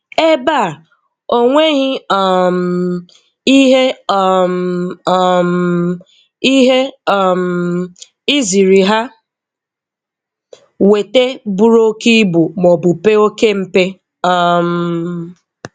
Ebe a, o nweghi um ihe um um ihe um i ziri ha wete buru oké ibu maọbụ pee oké mpe. um